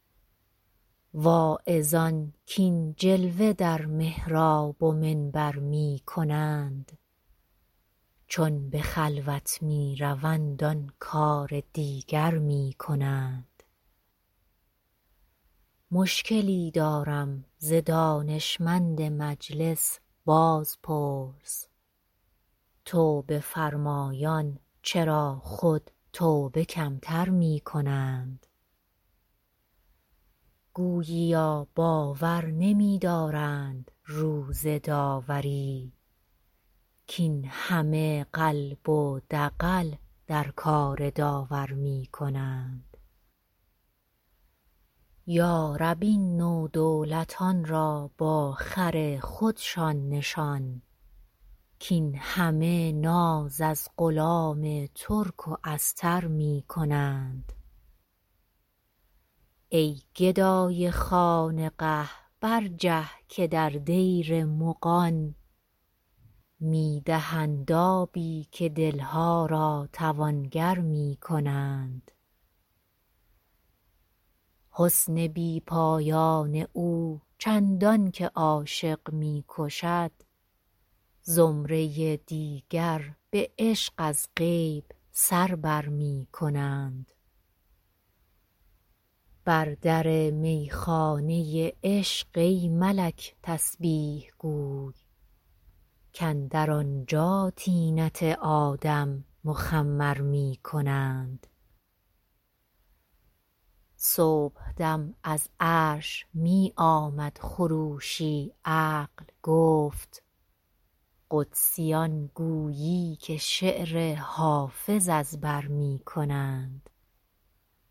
واعظان کاین جلوه در محراب و منبر می کنند چون به خلوت می روند آن کار دیگر می کنند مشکلی دارم ز دانشمند مجلس بازپرس توبه فرمایان چرا خود توبه کم تر می کنند گوییا باور نمی دارند روز داوری کاین همه قلب و دغل در کار داور می کنند یا رب این نودولتان را با خر خودشان نشان کاین همه ناز از غلام ترک و استر می کنند ای گدای خانقه برجه که در دیر مغان می دهند آبی و دل ها را توانگر می کنند حسن بی پایان او چندان که عاشق می کشد زمره دیگر به عشق از غیب سر بر می کنند بر در می خانه عشق ای ملک تسبیح گوی کاندر آنجا طینت آدم مخمر می کنند صبح دم از عرش می آمد خروشی عقل گفت قدسیان گویی که شعر حافظ از بر می کنند